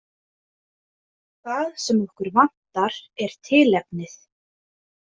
Það sem okkur vantar er tilefnið.